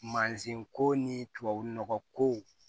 Mansinko ni tubabu nɔgɔ ko